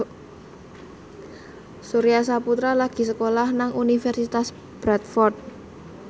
Surya Saputra lagi sekolah nang Universitas Bradford